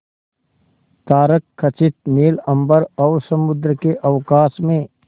तारकखचित नील अंबर और समुद्र के अवकाश में